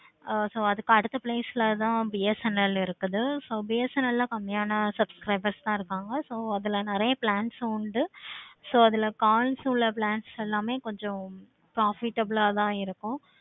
ஆஹ் so அதுக்கு அடுத்த price தான் BSNL இருக்குது. so BSNL ல கம்மியான subscribers இருக்காங்க. so அதுல நெறைய plans உண்டு. so அதுல calls உள்ள plans எல்லாமே profitable ஆஹ் தான் இருக்கும்.